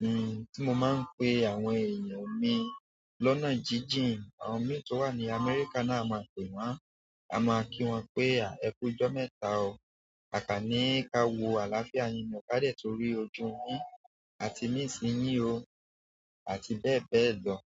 hmm, tí mo máa ń pe àwọn èèyàn mi lọ́nà jíjìn, àwọn mi tó wà ní Amẹ́ríkà náà, a máa pè wọ́n. A máa kí wọn pé à, ẹkùn ọjọ́ mẹ́ta o. Kàkàní, ka wo àlàáfíà yinú ọ̀kadà torí ojú mi àti mí sì yín o àti bẹ́ẹ̀ bẹ́ẹ̀ lọ.